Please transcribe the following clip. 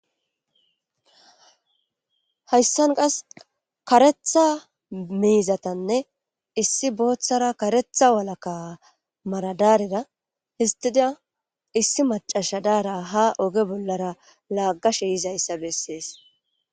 hayssan qas karetha miizatanne issi booththara karetha walaka maradaarera histida issi macasha daara ha oge bollara laaggashe yizayssa bessees